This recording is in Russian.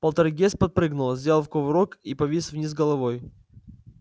полтергейст подпрыгнул сделав кувырок и повис вниз головой